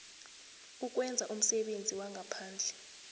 ukwenza umsebenzi wangaphandle